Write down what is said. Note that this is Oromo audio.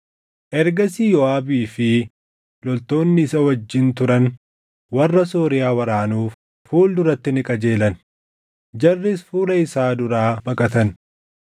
Ergasii Yooʼaabii fi loltoonni isa wajjin turan warra Sooriyaa waraanuuf fuul duratti ni qajeelan; jarris fuula isaa duraa baqatan.